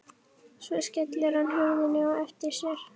Svo skellir hann hurðinni á eftir sér.